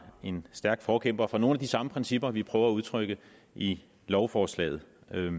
en stærk forkæmper for nogle af de samme principper vi prøver at udtrykke i lovforslaget